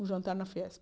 Um jantar na Fiesp.